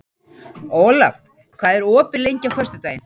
Olav, hvað er opið lengi á föstudaginn?